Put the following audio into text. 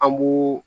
An b'o